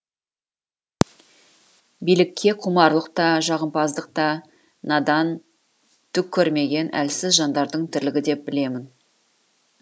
билікке құмарлық та жағымпаздық та надан түк көрмеген әлсіз жандардың тірлігі деп білемін